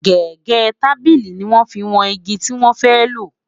gégé tábìlì ní wọn fí wón ìgi tí wọn fẹ lo